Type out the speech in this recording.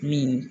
Min